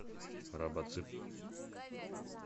робоцып